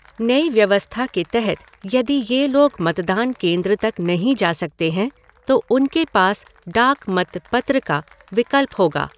नई व्यवस्था के तहत यदि ये लोग मतदान केन्द्र तक नहीं जा सकते हैं तो उनके पास डाक मत पत्र का विकल्प होगा।